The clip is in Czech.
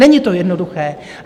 Není to jednoduché.